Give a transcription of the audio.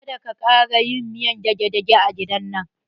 Kada ka ƙara yin miyan dage-dage a gidan man!